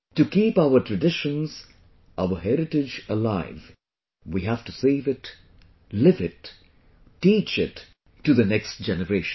To keep our traditions, our heritage alive, we have to save it, live it, teach it to the next generation